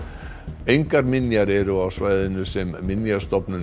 engar minjar eru á svæðinu sem Minjastofnun